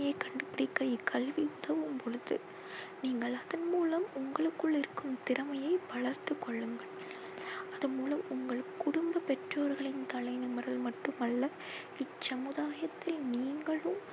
கண்டு பிடிக்க கல்வி உதவும் பொழுது நீங்கள் அதன் மூலம் உங்களுக்குள் இருக்கும் திறமையை வளர்த்து கொள்ளுங்கள். அது மூலம் உங்கள் குடும்ப பெற்றோர்களின் தலை நிமிரல் மட்டும் அல்ல இச்சமுதாயத்தில் நீங்களும்